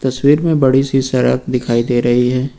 तस्वीर में बड़ी सी सराब दिखाई दे रही है।